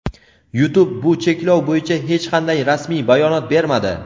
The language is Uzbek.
YouTube bu cheklov bo‘yicha hech qanday rasmiy bayonot bermadi.